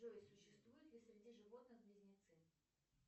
джой существуют ли среди животных близнецы